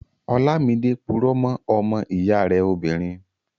Ọlámidé purọ́ mọ́ ọmọ ìyá rẹ̀ obìnrin